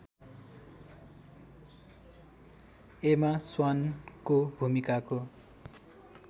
एमा स्वान को भूमिकाको